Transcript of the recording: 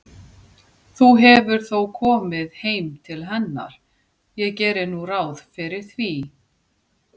Þú hefur þó komið heim til hennar, ég geri nú ráð fyrir því.